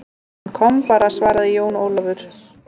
Hann kom bara, svaraði Jón Ólafur.